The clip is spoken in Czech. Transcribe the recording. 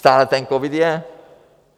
Stále ten covid je!